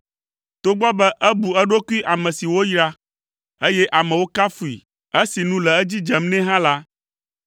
Togbɔ be ebu eɖokui ame si woyra, eye amewo kafui esi nu le edzi dzem nɛ hã la,